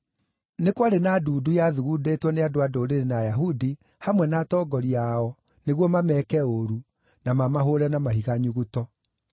Nĩ kwarĩ na ndundu yathugundĩtwo nĩ andũ-a-Ndũrĩrĩ na Ayahudi, hamwe na atongoria ao, nĩguo mameeke ũũru, na mamahũũre na mahiga nyuguto.